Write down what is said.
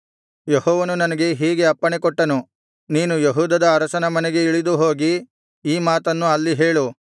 ಯೆಹೋವನು ನನಗೆ ಹೀಗೆ ಅಪ್ಪಣೆಕೊಟ್ಟನು ನೀನು ಯೆಹೂದದ ಅರಸನ ಮನೆಗೆ ಇಳಿದು ಹೋಗಿ ಈ ಮಾತನ್ನು ಅಲ್ಲಿ ಹೇಳು